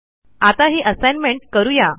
आता ही असाईनमेंट करू या